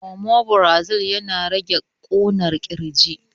Omifrazol yana rage ƙunar ƙirji